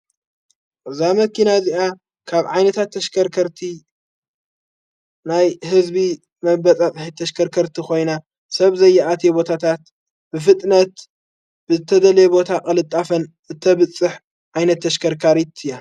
ቕዛ መኪና እዚኣ ካብ ዓይነታት ተሽከርከርቲ ናይ ሕዝቢ መበጻጽሒ ተሽከርከርቲ ኾይና ሰብ ዘይኣት የቦታታት ፍጥነት ብተደለየ ቦታ ቐልጣፈን እተብጽሕ ዓይነት ተሽከርካር እያ።